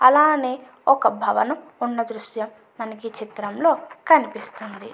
అలానే ఒక భవనం ఉన్న దృశ్యం మనకి ఈ చిత్రంలో కనిపిస్తుంది.